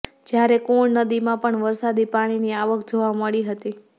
જયારે કુણ નદીમાં પણ વરસાદી પાણીની આવક જોવા મળી હતી